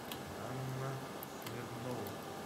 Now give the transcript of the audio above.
анна смирнова